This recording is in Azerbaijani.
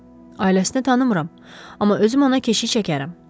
Ailəsini tanımıram, amma özüm ona keşik çəkərəm.